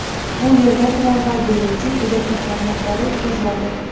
Bu yerda tramvay yo‘li uchun elektr tarmoqlar o‘tkaziladi.